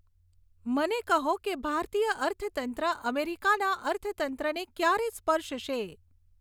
મને કહો કે ભારતીય અર્થતંત્ર અમેરિકાના અર્થતંત્રને ક્યારે સ્પર્શશે